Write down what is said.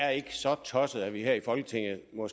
så er